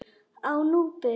Á Núpi